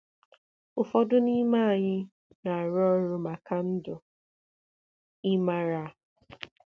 Ụfọdụ n'ime anyị na-arụ ọrụ maka ndụ, ị maara.